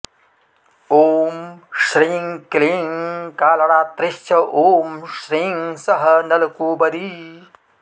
ॐ श्रीं क्लीं कालरात्रीश्च ॐ श्रीं सः नलकूबरी